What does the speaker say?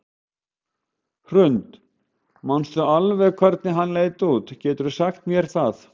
Hrund: Manstu alveg hvernig hann leit út, geturðu sagt mér það?